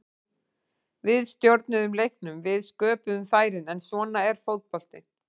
Við stjórnuðum leiknum, við sköpuðum færin, en svona er fótboltinn.